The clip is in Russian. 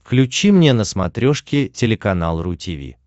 включи мне на смотрешке телеканал ру ти ви